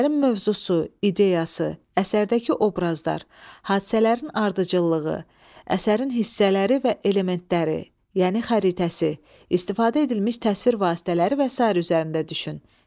Əsərin mövzusu, ideyası, əsərdəki obrazlar, hadisələrin ardıcıllığı, əsərin hissələri və elementləri, yəni xəritəsi, istifadə edilmiş təsvir vasitələri və sair üzərində düşün.